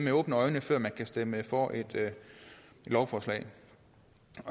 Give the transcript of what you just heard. før man kan stemme for et lovforslag